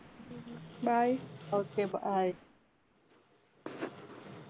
bye